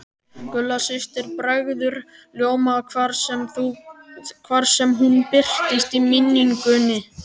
Gulla systir bregður ljóma hvar sem hún birtist í minningunni.